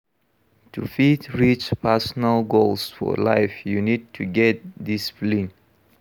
To fit reach personal goals for life you need to get discipline